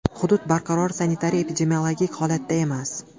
Hudud barqaror sanitariya-epidemiologik holatda emas.